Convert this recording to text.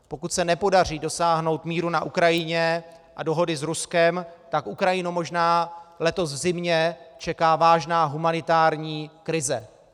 Pokud se nepodaří dosáhnout míru na Ukrajině a dohody s Ruskem, tak Ukrajinu možná letos v zimě čeká vážná humanitární krize.